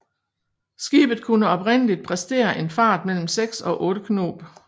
Skibet kunne oprindeligt præstere en fart på mellem 6 og 8 knob